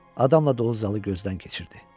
Adamla dolu zalı gözdən keçirdi.